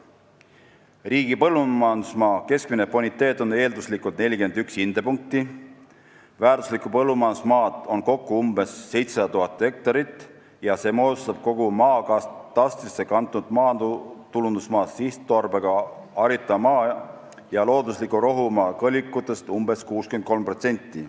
Riigi põllumajandusmaa keskmine boniteet on eelduslikult 41 hindepunkti, väärtuslikku põllumajandusmaad on kokku umbes 700 000 hektarit ja see moodustab kogu maakatastrisse kantud maatulundusmaa, sihtotstarbega haritava maa ja loodusliku rohumaa kõlvikutest umbes 63%.